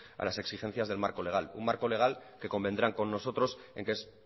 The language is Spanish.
a las exigencias del marco legal un marco legal que convendrán con nosotros en que es